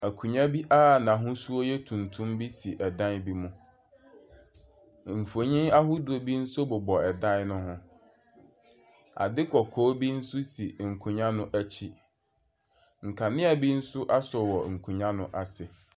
Akonnwa bi a na ahusuo yɛ tuntum bi si ɛdan bi mu mfoni ahodoɔ bi nso bɔbɔ ɛdan bi hɔn adeɛ kɔkɔɔ bi nso ɛsi nkonnwa no akyi nkanea bi nso aso nkonnwa no akyi.